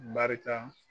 Barika